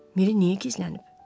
Miri niyə gizlənib?